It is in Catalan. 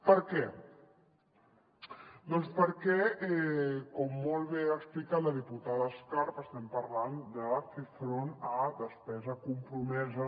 per què doncs perquè com molt bé ha explicat la diputada escarp estem parlant de fer front a despesa compromesa